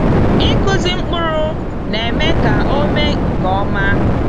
Ikụzi mkpụrụ n'eme ka ome nke ọma.